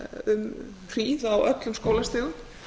um hríð á öllum skólastigum